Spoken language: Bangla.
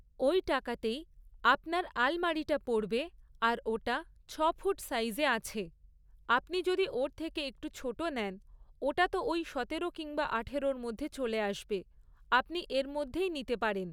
ওই টাকাতেই আপনার আলমারিটা পড়বে আর ওটা ছ'ফুট সাইজে আছে। আপনি যদি ওর থেকে একটু ছোটো নেন, ওটা তো ওই সতেরো কিংবা আঠারোর মধ্যে চলে আসবে, আপনি এর মধ্যেই নিতে পারেন।